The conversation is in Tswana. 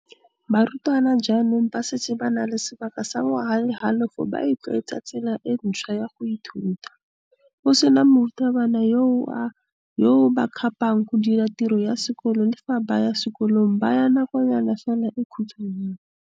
Barutwana jaanong ba setse ba na le sebaka sa ngwaga le halofo ba itlwaetsa tsela e ntšhwa ya go ithuta, go sena morutabana yo a ba kgapang go dira tiro ya sekolo le fa ba ya sekolong ba ya nakonyana fela e khutshwanyana.